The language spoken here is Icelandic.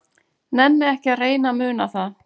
Nenni ekki að reyna að muna það.